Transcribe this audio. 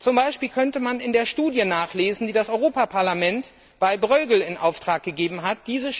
Zum Beispiel könnte man einiges in der Studie nachlesen, die das Europäische Parlament bei Bruegel in Auftrag gegeben hat.